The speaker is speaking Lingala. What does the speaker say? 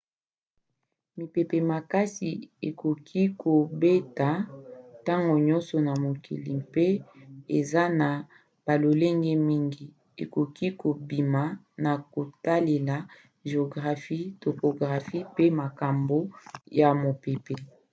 mipepe makasi ekoki kobeta ntango nyonso na mokili mpe eza na balolenge mingi ekoki kobima na kotalela géographie topographie pe makambo ya mopepe